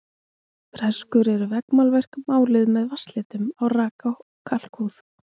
Freskur eru veggmálverk, máluð með vatnslitum á raka kalkhúð.